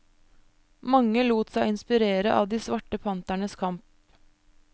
Mange lot seg inspirere av de svarte panternes kamp.